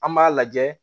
An b'a lajɛ